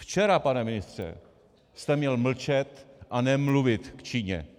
Včera, pane ministře, jste měl mlčet a nemluvit k Číně.